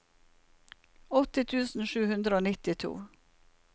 åtti tusen sju hundre og nittito